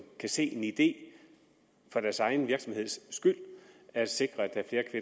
kan se en idé i for deres egen skyld at sikre at der er